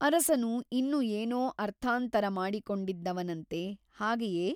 ಅರಸನು ಇನ್ನು ಏನೋ ಅರ್ಥಾಂತರ ಮಾಡಿಕೊಂಡಿದ್ದವನಂತೆ ಹಾಗೆಯೇ?